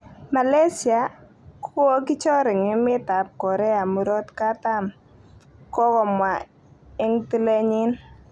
Malaysia kokokichor eng emet tab korea murot katam, kokamwa eng tilenyin